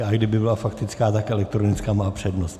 I kdyby byla faktická, tak elektronická má přednost.